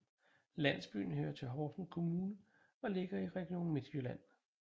Landsbyen hører til Horsens Kommune og ligger i Region Midtjylland